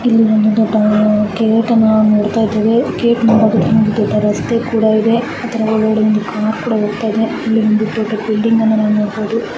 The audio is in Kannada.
ಇಲ್ಲಿ ನಮಗೆ ಗೇಟ್ ಅನ ನೋಡ್ತಾಯಿದೀವಿ ಗೇಟ್ ಮುಂಭಾಗದಲ್ಲಿ ಒಂದು ರಸ್ತೆ ಕೂಡ ಇದೆ ಅದರಲ್ಲಿ ಒಂದು ಕಾರ್ ಕೂಡ ಹೋಗ್ತಾಯಿದೆ ಇಲ್ಲಿ ನಮಗೆ ದೊಡ್ಡ ಬಿಲ್ಡಿಂಗ್ ಅನ್ನ ನೋಡಬಹುದು.